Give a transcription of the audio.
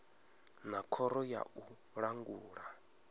na khoro ya u langula